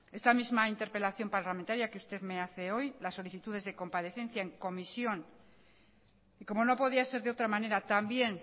esta misma interpelación parlamentaria que usted me hace hoy las solicitudes de comparecencia en comisión y cómo no podía ser de otra manera también